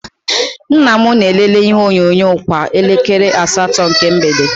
Nnam na- elele ihe onyonyo kwa elekere asatọ nke mgbede.